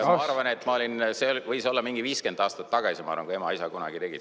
Ma arvan, et see võis olla mingi 50 aastat tagasi, kui ema-isa kunagi tegid.